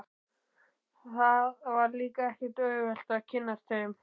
Það var líka ekkert auðvelt að kynnast þeim.